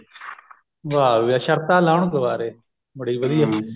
ਵਾਹ ਵੀ ਵਾਹ ਸ਼ਤਰਾਂ ਲਾਉਣ ਕੁਵਾਰੇ ਬੜੀ ਵਧੀਆ